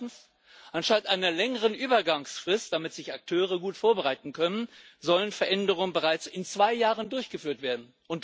Zweitens Anstatt einer längeren Übergangsfrist damit sich Akteure gut vorbereiten können sollen Veränderungen bereits in zwei Jahren durchgeführt werden.